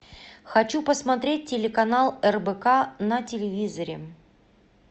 хочу посмотреть телеканал рбк на телевизоре